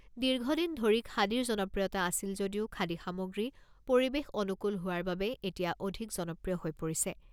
দীৰ্ঘদিন ধৰি খাদীৰ জনপ্ৰিয়তা আছিল যদিও খাদী সামগ্ৰী পৰিৱেশ অনুকূল হোৱাৰ বাবে এতিয়া অধিক জনপ্ৰিয় হৈ পৰিছে।